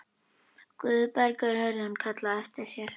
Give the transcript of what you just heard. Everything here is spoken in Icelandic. Guðbergur heyrði hann kallað á eftir sér.